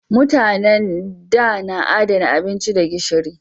Mutanen da na adana abinci da gishiri